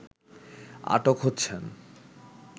আটক হচ্ছেন